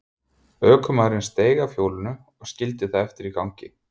Ökumaðurinn steig af hjólinu og skildi það eftir í gangi.